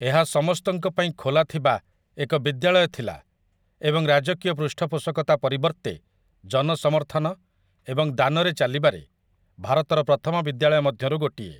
ଏହା ସମସ୍ତଙ୍କ ପାଇଁ ଖୋଲା ଥିବା ଏକ ବିଦ୍ୟାଳୟ ଥିଲା ଏବଂ ରାଜକୀୟ ପୃଷ୍ଠପୋଷକତା ପରିବର୍ତ୍ତେ ଜନସମର୍ଥନ ଏବଂ ଦାନରେ ଚାଲିବାରେ ଭାରତର ପ୍ରଥମ ବିଦ୍ୟାଳୟ ମଧ୍ୟରୁ ଗୋଟିଏ ।